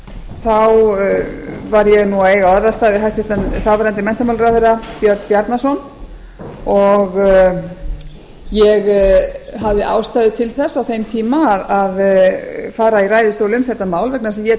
þá var ég að eiga orðastað við þáv hæstvirtur menntamálaráðherra björn bjarnason og ég hafði ástæðu til þess á þeim eiga að fara í ræðustól um þetta mál vegna þess að ég